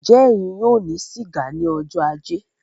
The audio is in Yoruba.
Njẹ ẹyin yóò ní siga ní ọjọ ajé?